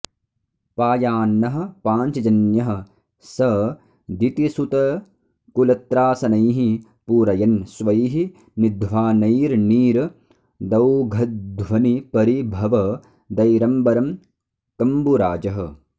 पायान्नः पाञ्चजन्यः स दितिसुतकुलत्रासनैः पूरयन् स्वैः निध्वानैर्नीरदौघध्वनिपरिभवदैरम्बरं कम्बुराजः